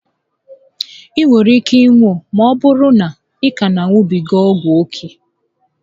I nwere ike ịnwụ ma ọbụrụ na ị ka na a ṅubiga ọgwụ ókè